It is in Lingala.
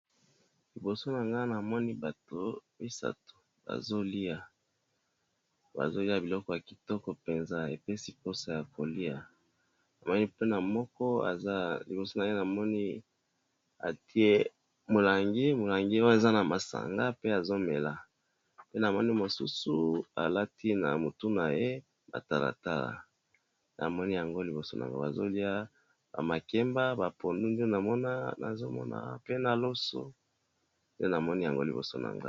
Liboso na ngai namoni batu misatu bazolya biloko ya kitoko penza ezopesa posa yakolya moko liboso naye aza na molangi ya masanga pe azomela mosusu aza na talatala na mutu bazolya ba makemba, pondu pe na loso